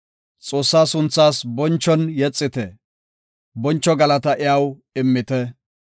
Xoossaa sunthaas bonchon yexite; boncho galataa iyaw immite.